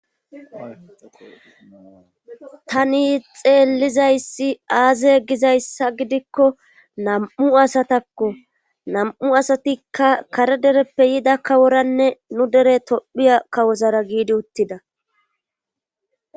tani xeellizayssi aaze gizayssa gidikko nam7u asatakko nam7u asatikka kare dereppe yida kaworanne nu dere tophiya kawozara giidi uttida